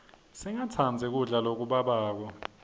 singatsandzi kudla lokubabako